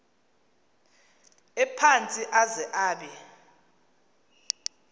ephantsi aze abe